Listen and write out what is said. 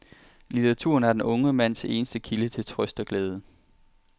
Litteraturen er den unge mands eneste kilde til trøst og glæde.